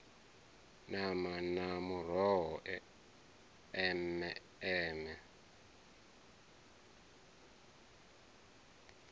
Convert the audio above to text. nama na muroho eme eme